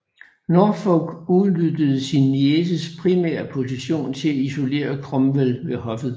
Norfolk udnyttede sin nieces primære position til at isolere Cromwell ved hoffet